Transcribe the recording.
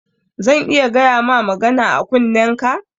Zan iya gayama magana a kunnenka?